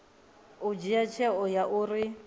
u dzhia tsheo ya uri